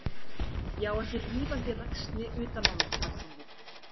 Ég á ekki rífandi ræksni utan á mig, bætti hún við.